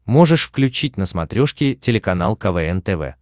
можешь включить на смотрешке телеканал квн тв